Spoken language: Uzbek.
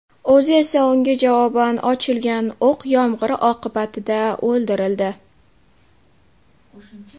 O‘zi esa unga javoban ochilgan o‘q yomg‘iri oqibatida o‘ldirildi.